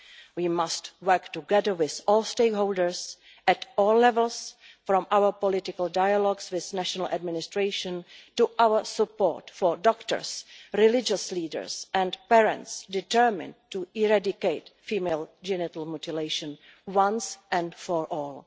We must work together with all stakeholders at all levels, from our political dialogues with national administrations to our support for doctors, religious leaders and parents determined to eradicate female genital mutilation once and for all.